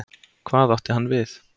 Hvað átti hann við?